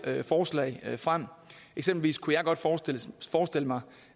forslag frem eksempelvis kunne jeg måske godt forestille mig